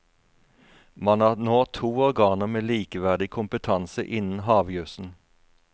Man har nå to organer med likeverdig kompetanse innen havjusen.